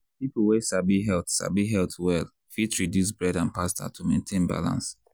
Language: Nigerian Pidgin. people wey sabi health sabi health well fit reduce bread and pasta to maintain balance.